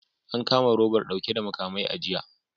An kama robar dauke da makamai a jiya